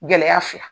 Gɛlɛya fila